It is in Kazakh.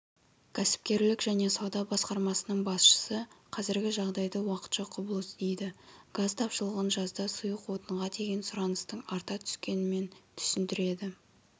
кәсіпкерлік және сауда басқармасының басшысы қазіргі жағдайды уақытша құбылыс дейді газ тапшылығын жазда сұйық отынға деген сұраныстың арта түскенімен түсіндіреді